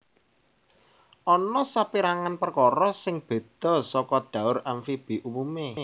Ana sapérangan perkara sing béda saka dhaur amfibi umumé